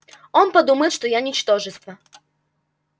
он подумает что я ничтожество